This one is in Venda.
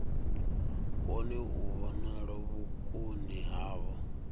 kone u vhonala vhukoni havho